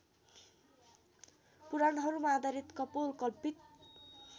पुराणहरूमा आधारित कपोलकल्पित